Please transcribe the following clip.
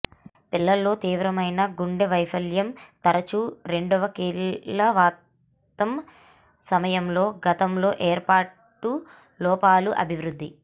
పిల్లల్లో తీవ్రమైన గుండె వైఫల్యం తరచూ రెండవ కీళ్ళవాతం సమయంలో గతంలో ఏర్పాటు లోపాలు అభివృద్ధి